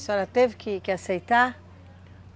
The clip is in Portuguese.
A senhora teve que aceitar?